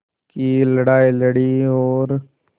की लड़ाई लड़ी और